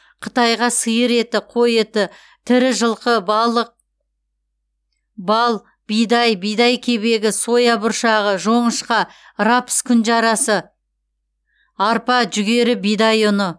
қытайға сиыр еті қой еті тірі жылқы балық бал бидай бидай кебегі соя бұршағы жоңышқа рапс күнжарасы арпа жүгері бидай ұны